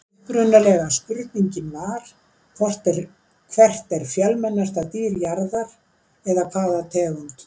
Upprunalega spurningin var: Hvert er fjölmennasta dýr jarðar eða hvaða tegund?